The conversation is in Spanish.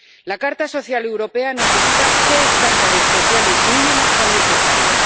La Carta Social Europea nos indica qué estándares sociales mínimos son necesarios.